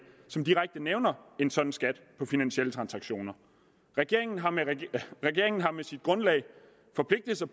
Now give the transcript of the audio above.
som direkte nævner en sådan skat på finansielle transaktioner regeringen har regeringen har med sit grundlag forpligtet sig